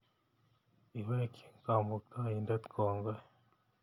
Iwekchi Kamuktaindet kongoi